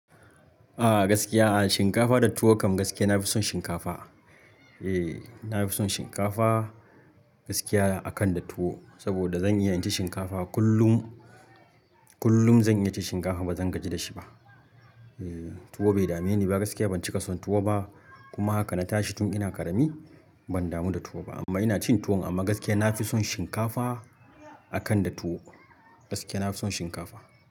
Ah gaskiya ah shinkafa da tuwo kam gaskiya na fi son shinkafa. Eh na fi son shinkafa gaskiya akan da tuwo saboda zan iya cin shinkafa kullum. Kullum zan iya cin shinkafa ba zan gaji da shi ba. Eh tuwo bai dame ni ba gaskiya ban cika son tuwo ba kuma haka na tashi tun ina ƙarami ban damu da tuwo ba. Amma ina cin tuwo amma gaskiya na fi son shinkafa akan da tuwo. Gaskiya na fi son shinkafa.